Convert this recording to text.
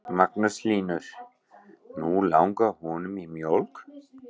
Magnús Hlynur: Nú langar honum í mjólk?